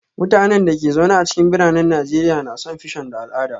Mutanen da ke zaune a cikin biranen Najeriya na son fission da al'ada